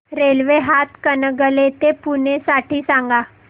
railway Hatkanangale ते पुणे साठी सांगा